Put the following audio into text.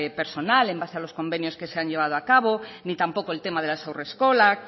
personal en base a los convenios que se han llevado a cabo ni tampoco el tema de las haurreskolak